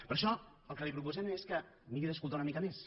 per això el que li proposem és que miri d’escoltar una mica més